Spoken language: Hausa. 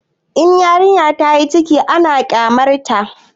In yarinya tayi ciki ana kyamar ta